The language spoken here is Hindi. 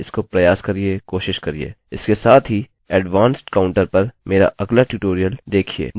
इसके साथ ही एडवांस्डउच्च श्रेणी काउंटर पर मेरा अगला ट्यूटोरियल देखिये जो ip adressess को महत्व देता है